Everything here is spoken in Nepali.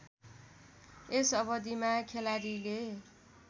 यस अवधिमा खेलाडीले